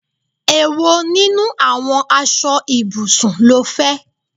Èwo nínú àwọn aṣọ ibùsùn ló fẹ?